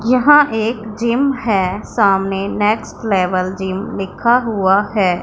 यहां एक जिम है सामने नेक्स्ट लेवल जिम लिखा हुआ है।